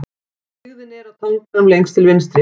Byggðin er á tanganum lengst til vinstri.